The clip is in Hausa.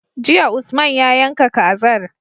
Jiya usman ya yanka kazar